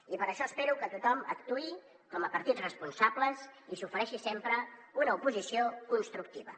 i per això espero que tothom actuï com a partits responsables i s’ofereixi sempre una oposició constructiva